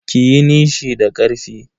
Kiyi nishi da karfi.